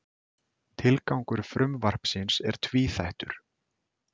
Tilgangur frumvarpsins er tvíþættur